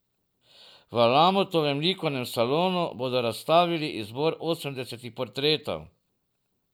V Lamutovem likovnem salonu bodo razstavili izbor osemdesetih portretov.